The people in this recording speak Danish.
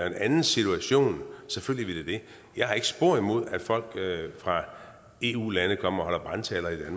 en anden situation jeg har ikke spor imod at folk fra eu lande kommer og holder brandtaler i